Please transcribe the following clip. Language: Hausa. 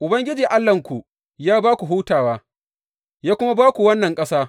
Ubangiji Allahnku ya ba ku hutawa, ya kuma ba ku wannan ƙasa.’